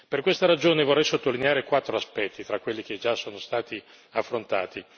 Per questa ragione, vorrei sottolineare quattro aspetti fra quelli che già sono stati affrontati.